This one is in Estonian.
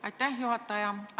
Aitäh, juhataja!